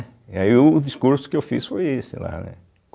E aí o discurso que eu fiz foi esse lá, né?